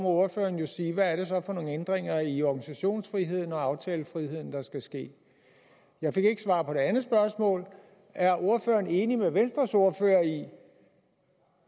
ordføreren jo sige hvad det så er for nogle ændringer i organisationsfriheden og aftalefriheden der skal ske jeg fik ikke svar på det andet spørgsmål er ordføreren enig med venstres ordfører i